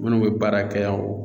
Minnu bɛ baara kɛ yan